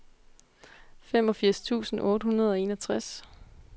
femogfirs tusind otte hundrede og enogtres